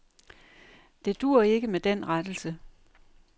Det duer ikke med den rettelse.